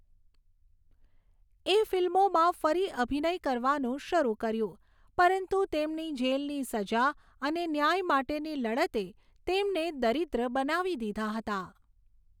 એ ફિલ્મોમાં ફરી અભિનય કરવાનું શરૂ કર્યું, પરંતુ તેમની જેલની સજા અને ન્યાય માટેની લડતે તેમને દરિદ્ર બનાવી દીધા હતા.